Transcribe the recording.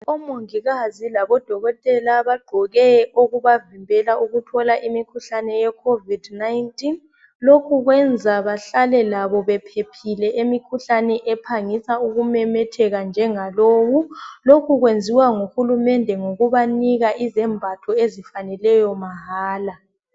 Odokotela labomongikazi bagqoke okubavikela ukuthola umkhuhlane weCovid 19 lokhu kuyenza labo bahlale bephephile emikhuhlaneni ephangisa ukumemetheka njengalowu lokhu kwenziwa nguhulumende ngokubanika izembatho ezifaneleyo mahala